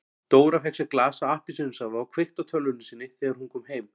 Dóra fékk sér glas af appelsínusafa og kveikti á tölvunni sinni þegar hún kom heim.